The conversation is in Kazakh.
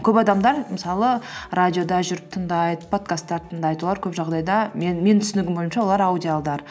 көп адамдар мысалы радиода жүріп тыңдайды подкасттар тыңдайды олар көп жағдайда менің түсінігім бойынша олар аудиалдар